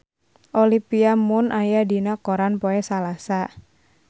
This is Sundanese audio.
Olivia Munn aya dina koran poe Salasa